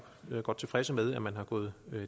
godt tilfredse med at man er gået